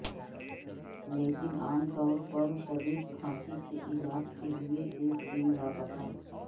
لیکن عام طور پر شدید کھانسی کے علاج کے لیے ایک دن لاپتہ